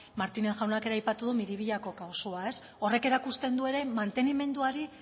martínez jaunak ere aipatu du miribillako kasua horrek erakusten du ere mantenimeduari